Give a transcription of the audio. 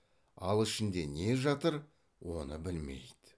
ал ішінде не жатыр оны білмейді